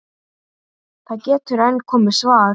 Það getur enn komið svar!